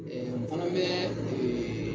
n fana bɛ